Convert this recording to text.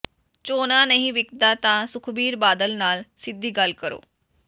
ਝੋਨਾ ਨਹੀਂ ਵਿਕਦਾ ਤਾਂ ਸੁਖਬੀਰ ਬਾਦਲ ਨਾਲ ਸਿੱਧੀ ਗੱਲ ਕਰੋ